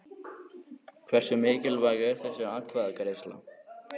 Hversu mikilvæg er þessi atkvæðagreiðsla?